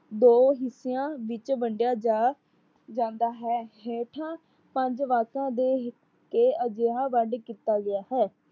ਦੋ ਹਿਸਿਆਂ ਵਿੱਚ ਵੰਡਿਆ ਜਾ ਜਾਂਦਾ ਹੈ। ਹੇਠਾ ਪੰਜ ਵਾਕਾਂ ਦੇ ਇਹ ਅਜਿਹਾ ਵਡ ਕੀਤਾ ਗਿਆ ਹੈ।